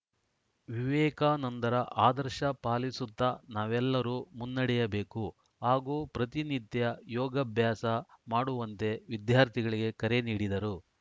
ವಿವೇಕಾನಂದರ ಆದರ್ಶ ಪಾಲಿಸುತ್ತಾ ನಾವೆಲ್ಲರೂ ಮುನ್ನಡೆಯಬೇಕು ಹಾಗೂ ಪ್ರತಿನಿತ್ಯ ಯೋಗ ಅಭ್ಯಾಸ ಮಾಡುವಂತೆ ವಿದ್ಯಾರ್ಥಿಗಳಿಗೆ ಕರೆ ನೀಡಿದರು